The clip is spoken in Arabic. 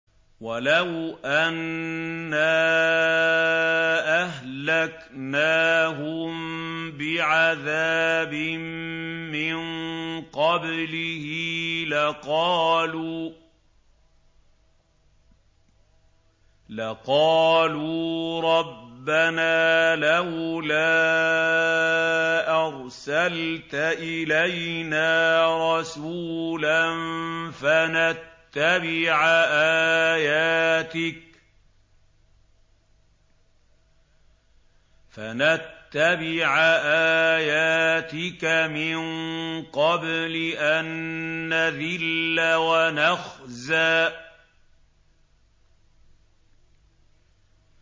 وَلَوْ أَنَّا أَهْلَكْنَاهُم بِعَذَابٍ مِّن قَبْلِهِ لَقَالُوا رَبَّنَا لَوْلَا أَرْسَلْتَ إِلَيْنَا رَسُولًا فَنَتَّبِعَ آيَاتِكَ مِن قَبْلِ أَن نَّذِلَّ وَنَخْزَىٰ